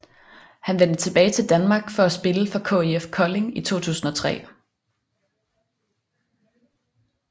Han vendte tilbage til danmark for at spille for KIF Kolding i 2003